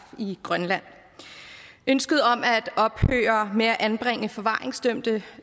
i grønland ønsket om at ophøre med at anbringe forvaringsdømte